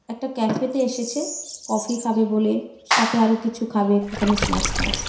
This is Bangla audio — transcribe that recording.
একটা কাফেতে আসছে কফি খাবে বলে। সাথে আরো কিছু খাবে একটুখানি স্নাক্স ট্যাক্স।